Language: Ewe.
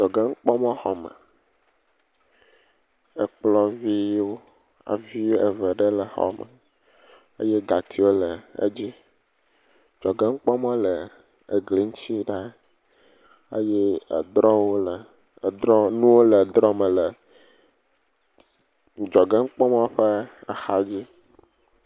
Adzɔge nukpɔmɔ xɔ me, ekplɔ viwo eve ɖe le xɔ me… adzɔgenukpɔmɔ le…egli ŋuti ɖa eye edrɔwo le nuwo le drɔ me le adzɔge nukpɔmɔ ƒe axadzi.